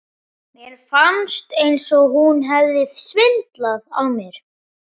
Mér fannst eins og hún hefði svindlað á mér.